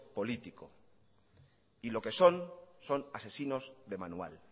político y lo que son son asesinos de manual